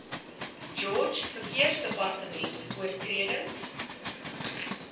george verkeersdepartement oortredings